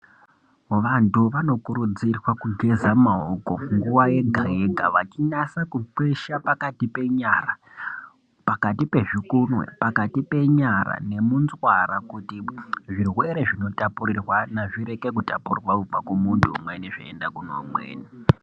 Vantu vanokurudzirwa kugeza maoko nguva yega-yega vachinasa kukwesha pakati penyara pakati pezvikunwe. Pakati penyara nemunzwa kuti zvirwere zvinotapurirwana zvireke kutapurirwana kubva kumuntu umweni zveienda kune umweni.